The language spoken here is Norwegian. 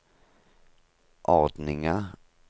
ordninga